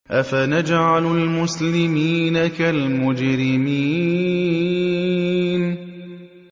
أَفَنَجْعَلُ الْمُسْلِمِينَ كَالْمُجْرِمِينَ